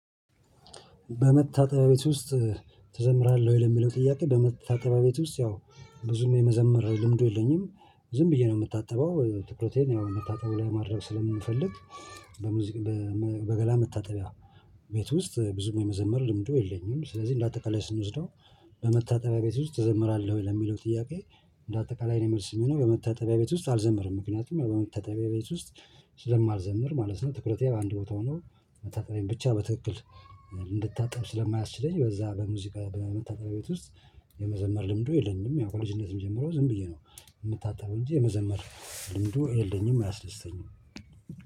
በመታጠቢያ ውስጥ ተዘምራለህ ወይ? ለሚለው ጥያቄ በመታጠቢያ ቤት ውስጥ ያው ብዙም የመዘመር ልምዱ የለኝም። ዝም ብዬ ነው የምታጠበው ትኩረቴን ያው መታጠብ ላይ ማድረግ ስለምንፈልግ። በሙዚቃ በገላ መታጠቢያ ቤት ውስጥ ብዙ የመዘመር ልምዱ የለኝም። ስለዚህ እንደ አጠቃላይ ስንወስደው በመታጠቢያ ቤት ውስጥ ተዘምራለህ ወይ ለሚለው ጥያቄ? እንደ አጠቃላይ የእኔ መልስ የሚሆነው በመታጠቢያ ቤት ውስጥ አልዘምርም። ምክንያቱም በመታጠቢያ ቤት ውስጥ ስለማልዘምር ማለት ነው። ትኩረት ያው አንድ ቦታ ሆኖ መታጠቤን ብቻ በትክክል እንድታጠብ ስለማያስችለኝ በዛ በሙዚቃ በመታጠሪያ ቤት ውስጥ የመዘመር ልምዱ የለኝም። ያው ከልጅነትም ጀምሮ ዝም ብዬ ነው የምታጠረው እንጂ የመዘመር ልምዱ የለኝም አያስድስተኝም።